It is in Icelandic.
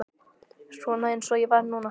Svona eins og ég var núna.